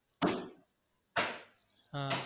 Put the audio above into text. ஆஹ்